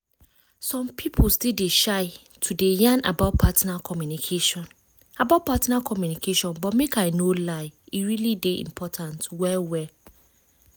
some people still dey shy to dey yan about partner communication about partner communication but make i no lie e really dey important well well.